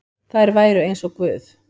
Þær væru eins og guð.